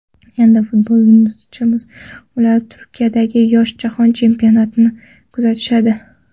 Endi futbolchimizni ular Turkiyadagi yoshlar jahon chempionatida kuzatishadi.